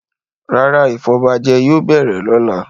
Rárá, ìfọbajẹ yóò bẹ̀rẹ̀ lọ́la.